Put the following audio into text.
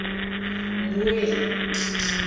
mmuela